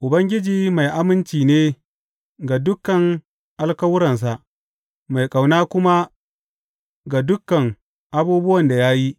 Ubangiji mai aminci ne ga dukan alkawuransa mai ƙauna kuma ga dukan abubuwan da ya yi.